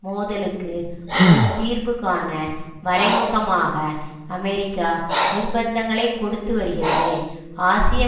மோதலுக்கு ஒரு தீர்வுகாண மறைமுகமாக அமெரிக்கா நிர்பந்தங்களை கொடுத்து வருகிறது ஆசிய